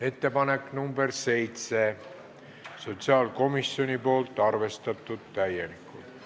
Ettepanek nr 7, esitanud sotsiaalkomisjon, arvestatud täielikult.